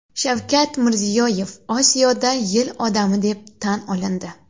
Shavkat Mirziyoyev Osiyoda yil odami deb tan olindi.